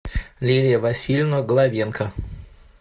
лилия васильевна главенко